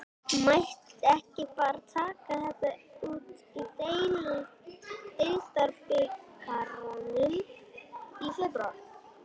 Mætti ekki bara taka þetta út í deildarbikarnum í febrúar?